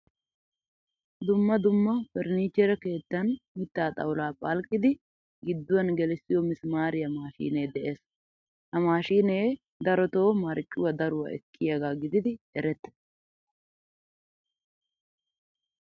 Dumma dumma furnichchere keettan mittaa xawula phalqqidi gidduwan gelisiyo misimariya maashine de'ees. Ha mashine daroto marccuwaa daruwaa ekkiyaga gididi erettees.